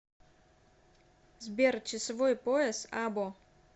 сбер часовой пояс або